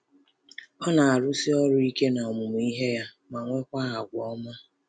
Ọ na-arụsi ọrụ ike n’ọmụmụ ihe ya, ma nwekwa àgwà ọma.”